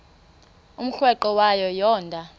umrweqe wayo yoonda